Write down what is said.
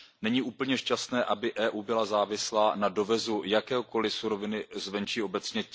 Není úplně šťastné, aby EU byla závislá na dovozu jakékoliv suroviny z venčí obecně.